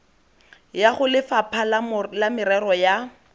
ya golefapha la merero ya